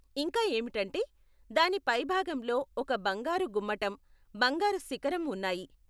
ఇంకా ఏమిటంటే, దాని పైభాగంలో ఒక బంగారు గుమ్మటం, బంగారు శిఖరం ఉన్నాయి.